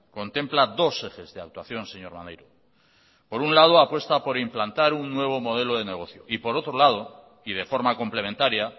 contempla dos ejes de actuación señor maneiro por un lado apuesta por implantar un nuevo modelo de negocio y por otro lado y de forma complementaria